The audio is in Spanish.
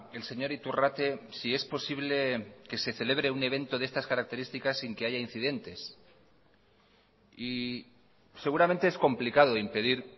el señor iturrate si es posible que se celebre un evento de estas características sin que haya incidentes y seguramente es complicado impedir